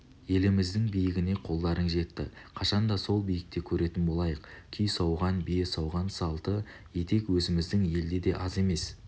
еліміздің биігіне қолдарың жетті қашанда сол биікте көретін болайық күй сауған бие сауған салпы етек өзіміздің елде де аз емес